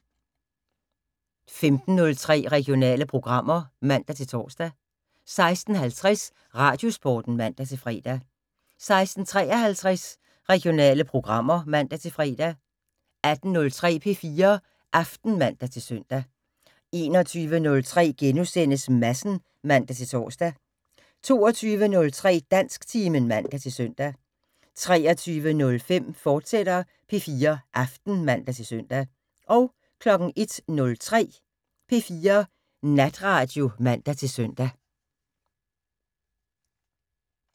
15:03: Regionale programmer (man-tor) 16:50: Radiosporten (man-fre) 16:53: Regionale programmer (man-fre) 18:03: P4 Aften (man-søn) 21:03: Madsen *(man-tor) 22:03: Dansktimen (man-søn) 23:05: P4 Aften, fortsat (man-søn) 01:03: P4 Natradio (man-søn)